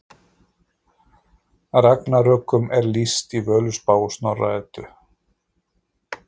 Ragnarökum er lýst í Völuspá og Snorra Eddu.